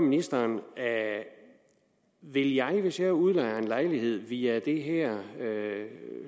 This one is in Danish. ministeren vil jeg hvis jeg udlejer en lejlighed via det her